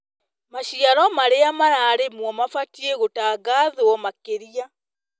Maciaro marĩa mararĩmwo mabatiĩ gũtangathwo makĩria.